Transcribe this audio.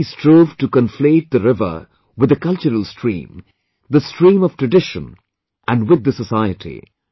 They constantly strove to conflate the river with the cultural stream, the stream of tradition, and with the society